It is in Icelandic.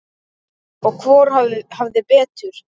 Og hvor hafði betur.